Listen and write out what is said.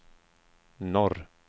norr